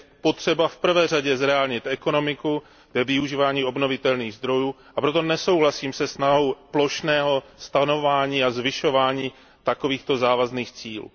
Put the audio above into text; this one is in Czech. Je potřeba v prvé řadě zreálnit ekonomiku ve využívání obnovitelných zdrojů, a proto nesouhlasím se snahou plošného stanovování a zvyšování takovýchto závazných cílů.